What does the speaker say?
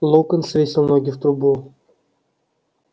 локонс свесил ноги в трубу